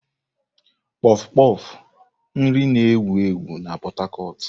Kpof kpof, nri na-ewu ewu na Pot Tarcot.